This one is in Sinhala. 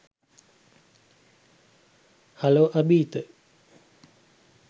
හලෝ අභීත